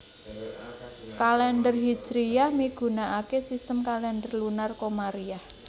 Kalèndher Hijriyah migunakaké sistem kalèndher lunar komariyah